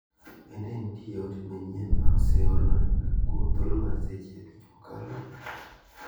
Bende nitie ote manyien ma ose orna kuom thuolo mar seche abich mokalo?